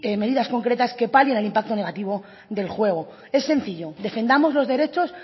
medidas concretas que palien el impacto negativo del juego es sencillo defendamos los derechos